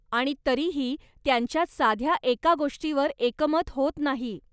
आणि तरीही त्यांच्यात साध्या एका गोष्टीवर एकमत होत नाही.